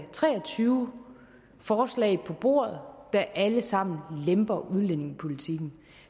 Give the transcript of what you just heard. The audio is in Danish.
tre og tyve forslag på bordet der alle sammen lemper udlændingepolitikken